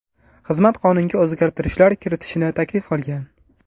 Xizmat qonunga o‘zgartirishlar kiritishni taklif qilgan.